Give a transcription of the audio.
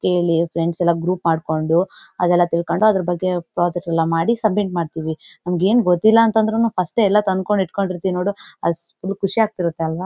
Friends ಎಲ್ಲಾ group ಮಾಡ್ಕೊಂಡು ಅದೆಲ್ಲ ತಿಳ್ಕೊಂಡು ಅದರ ಬಗ್ಗೆ ಪ್ರಾಜೆಕ್ಟ್ ಎಲ್ಲಾ ಮಾಡಿ ಸಬ್ ಮಿಟ್ ಮಾಡ್ತಿವಿ ನಮ್ಗ್ ಏನ್ ಗೊತ್ತಿಲ್ಲ ಅಂದ್ರೂನು ಫಸ್ಟ್ ಎಲ್ಲಾ ತಂದ್ಕೊಂಡ್ ಇರ್ತಿವಿ ನೋಡು ಅದು ಫುಲ್ ಖುಷಿ ಆಗ್ತಿರುತ್ತೆ ಅಲ್ವಾ.